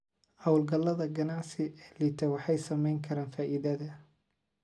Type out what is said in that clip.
Hawlgallada ganacsi ee liita waxay saameyn karaan faa'iidada.